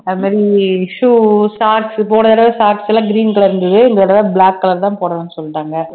அது மாதிரி shoe shacks போன தடவை shacks எல்லாம் green color இருந்தது இந்த தடவை black color தான் போடணும்னு சொல்லிட்டாங்க